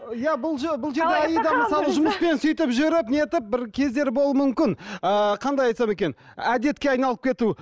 иә бұл бұл жерде аида мысалы жұмыспен сөйтіп жүріп нетіп бір кездері болуы мүмкін ыыы қандай айтсам екен әдетке айналып кету